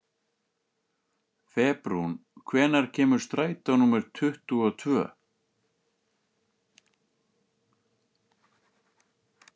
Febrún, hvenær kemur strætó númer tuttugu og tvö?